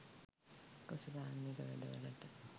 කෘෂිකාර්මික වැඩවලට